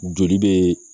Joli bɛ